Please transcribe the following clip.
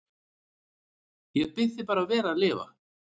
Ég bið þig bara vel að lifa